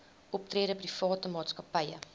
optrede private maatskappye